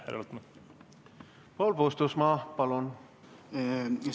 Paul Puustusmaa, palun!